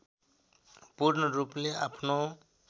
पूर्ण रूपले आफ्नो